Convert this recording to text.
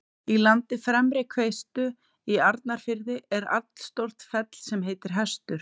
Í landi Fremri-Hvestu í Arnarfirði er allstórt fell sem heitir Hestur.